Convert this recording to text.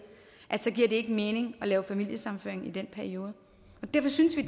ikke mening at lave familiesammenføring i den periode derfor synes vi